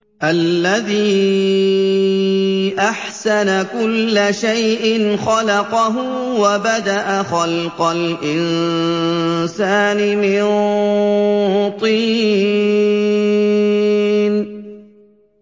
الَّذِي أَحْسَنَ كُلَّ شَيْءٍ خَلَقَهُ ۖ وَبَدَأَ خَلْقَ الْإِنسَانِ مِن طِينٍ